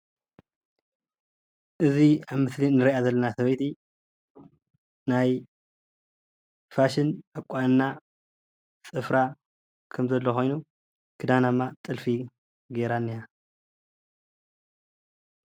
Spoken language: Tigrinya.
እዚ ኣብ ምስሊ እንሪኣ ዘለና ሰበይቲ ናይ ፋሽን አቋንና ፅፍራ ከም ዘሎ ኮይኑ ክዳና ድማ ጥልፊ ገይራ እኒሃ፡፡